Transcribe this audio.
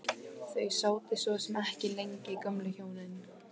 Þau sátu svo sem ekki lengi gömlu hjónin.